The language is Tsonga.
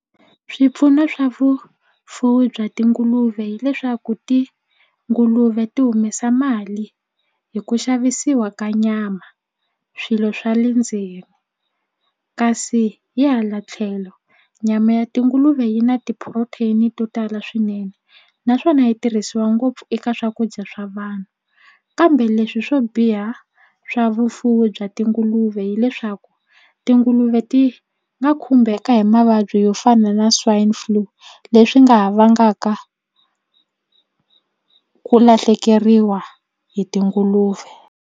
Swipfuno swa vufuwi bya tinguluve hileswaku tinguluve ti humesa mali hi ku xavisiwa ka nyama swilo swa le ndzeni kasi hi hala tlhelo nyama ya tinguluve yi na ti-protein to tala swinene naswona yi tirhisiwa ngopfu eka swakudya swa vanhu kambe leswi swo biha swa vufuwi bya tinguluve hileswaku tinguluve ti nga khumbeka hi mavabyi yo fana na swine flu leswi nga ha vangaka ku lahlekeriwa hi tinguluve.